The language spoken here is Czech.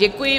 Děkuji.